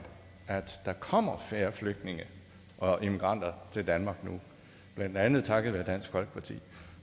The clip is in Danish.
at der kommer færre flygtninge og immigranter til danmark nu blandt andet takket være dansk folkeparti